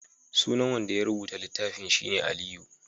sunan wanda ya rubuta littafin shi ne Aliyu